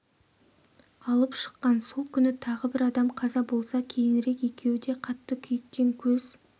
алып шыққан сол күні тағы бір адам қаза болса кейінірек екеуі де қатты күйіктен көз